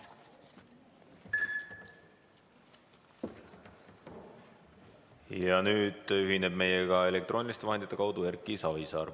Ja nüüd ühineb meiega elektrooniliste vahendite kaudu Erki Savisaar.